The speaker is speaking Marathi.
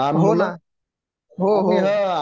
हो ना हो हो